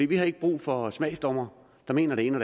vi har ikke brug for smagsdommere der mener det ene